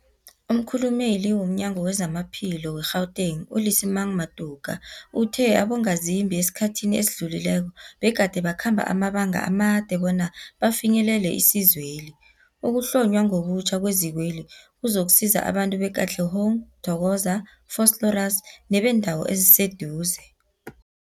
Umkhulumeli womNyango weZamaphilo we-Gauteng, u-Lesemang Matuka uthe abongazimbi esikhathini esidlulileko begade bakhamba amabanga amade bona bafinyelele isizweli. Ukuhlonywa ngobutjha kwezikweli kuzokusiza abantu be-Katlehong, Thokoza, Vosloorus nebeendawo eziseduze.